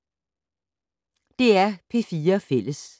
DR P4 Fælles